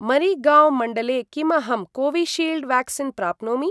मरिगाँव् मण्डले किम् अहं कोविशील्ड् व्याक्सीन् प्राप्नोमि?